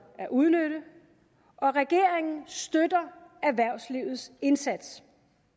at udnytte og regeringen støtter erhvervslivets indsats